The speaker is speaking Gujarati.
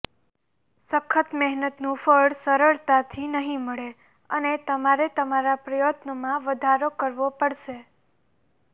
સખત મહેનતનું ફળ સરળતાથી નહીં મળે અને તમારે તમારા પ્રયત્નોમાં વધારો કરવો પડશે